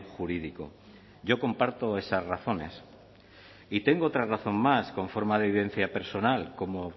jurídico yo comparto esas razones y tengo otra razón más con forma de vivencia personal como